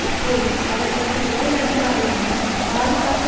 அப்போது அவருக்கு மேலதிகாரியான பாதுகாப்பு